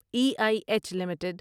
E I H limited